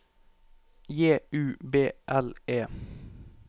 J U B L E